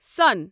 سون